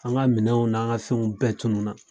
An ka minɛnw n'an ka fɛnw bɛɛ tunu na.